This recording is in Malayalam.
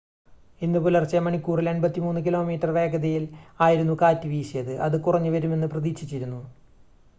ഇന്ന് പുലർച്ചെ മണിക്കൂറിൽ 83 കിലോമീറ്റർ വേഗതയിൽ ആയിരുന്നു കാറ്റ് വീശിയത് അത് കുറഞ്ഞുവരുമെന്ന് പ്രതീക്ഷിച്ചിരുന്നു